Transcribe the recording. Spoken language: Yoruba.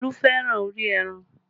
Olú fẹ́ràn orí ẹran